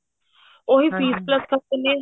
ਉਹੀ ਫੇਰ plus ਕਰ ਦਿੰਦੇ ਨੇ